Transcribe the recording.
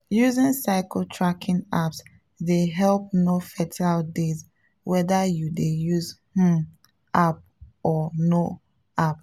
using cycle tracking apps dey help know fertile days whether you dey use um app or no app.